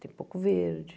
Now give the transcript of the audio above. Tem pouco verde.